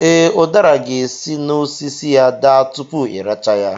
Ee, ụdara ga-esi n'osisi ya daa tupu ị rachaa ya